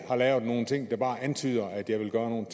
har lavet nogle ting der bare antyder at jeg vil gøre nogle